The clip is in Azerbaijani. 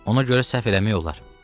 Ona görə səhv eləmək olar.